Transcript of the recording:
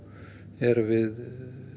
erum við